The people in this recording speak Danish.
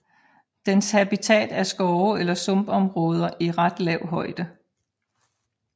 Dens habitat er skove eller sumpområder i ret lav højde